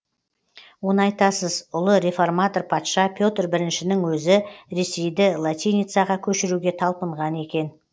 оны айтасыз ұлы реформатор патша петр біріншінің өзі ресейді латиницаға көшіруге талпынған екен